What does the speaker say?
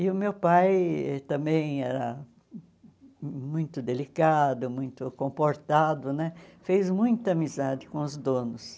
E o meu pai também era muito delicado, muito comportado né, fez muita amizade com os donos.